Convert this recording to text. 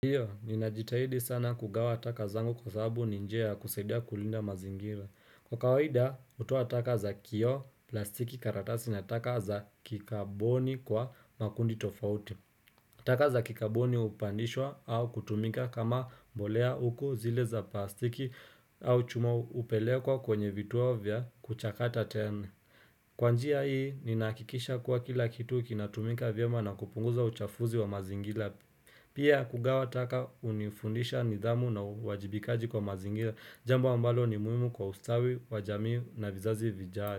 Hiyo, ninajitahidi sana kugawa taka zangu kwasababu ni njia ya kusaidia kulinda mazingira. Kwa kawaida, hutoa taka za kioo, plastiki, karatasi na taka za kikaboni kwa makundi tofauti. Taka za kikaboni hupandishwa au kutumika kama mbolea huku zile za plastiki au chuma hupelekwa kwenye vituo vya kuchakata tena. Kwa njia hii, ninahakikisha kua kila kitu kinatumika vyema na kupunguza uchafuzi wa mazingira. Pia kugawa taka hunifundisha nidhamu na uajibikaji kwa mazingia, Jambo ambalo ni muhimu kwa ustawi, wa jamii na vizazi vijavyo.